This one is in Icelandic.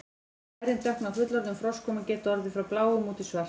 lærin dökkna á fullorðnum froskum og geta orðið frá bláum út í svart